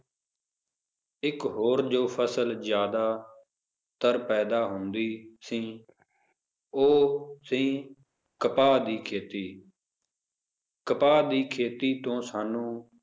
ਇੱਕ ਹੋਰ ਜੋ ਫਸਲ ਜ਼ਿਆਦਾਤਰ ਪੈਦਾ ਹੁੰਦੀ ਸੀ ਉਹ ਸੀ ਕਪਾਹ ਦੀ ਖੇਤੀ ਕਪਾਹ ਦੀ ਖੇਤੀ ਤੋਂ ਸਾਨੂੰ